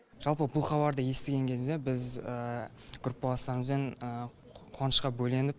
жалпы бұл хабарды естіген кезде біз группаластарымызбен қуанышқа бөленіп